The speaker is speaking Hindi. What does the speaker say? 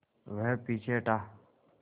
वह पीछे हटा